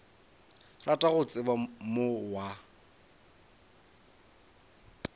rata go tseba mong wa